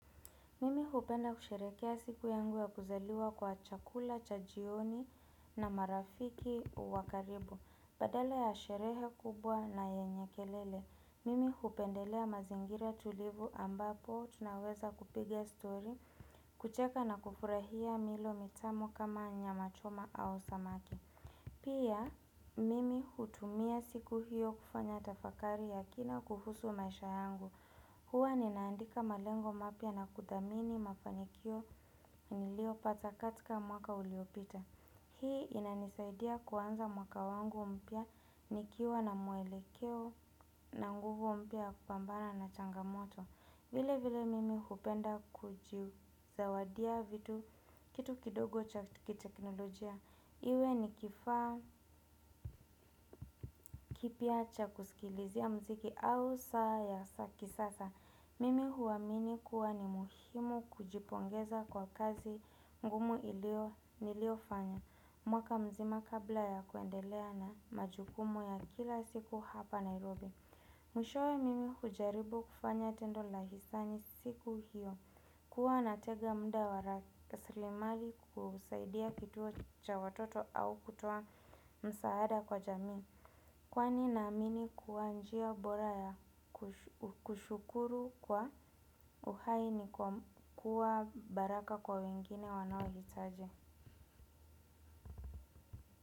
Mimi hupenda kusherehekea siku yangu ya kuzaliwa kwa chakula, cha jioni na marafiki wa karibu. Badala ya sherehe kubwa na yenye kelele mimi hupendelea mazingira tulivu ambapo tunaweza kupiga story. Kucheka na kufurahia milo mitamu kama nyama choma au samaki. Pia mimi hutumia siku hiyo kufanya tafakari ya kina kuhusu maisha yangu. Hua ninaandika malengo mapya na kudhamini mafanikio niliyo pata katika mwaka uliopita. Hii inanisaidia kuanza mwaka wangu mpya nikiwa na muelekeo na nguvu mpya ya ku pambana na changamoto. Vile vile mimi hupenda kujiu zawadia vitu kitu kidogo cha kiteknolojia. Iwe nikifa kipya cha kusikilizia mziki au saa ya kisasa. Mimi huamini kuwa ni muhimu kujipongeza kwa kazi ngumu ilio nilio fanya. Mwaka mzima kabla ya kuendelea na majukumu ya kila siku hapa Nairobi. Mwishowe mimi hujaribu kufanya tendo la hisani siku hiyo. Kuwa na tega mda wa rakaslimali kusaidia kituo cha watoto au kutoa msaada kwa jamii kwani na amini kuwa njia bora ya kushukuru kwa uhai ni kuwa baraka kwa wengine wanaohitaji.